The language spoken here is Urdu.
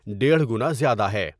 ڈیڑھ گنازیادہ ہے ۔